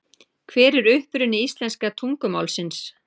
Hver er uppruni íslenska tungumálsins?